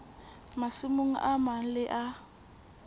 masimong a mang le a